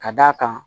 Ka d'a kan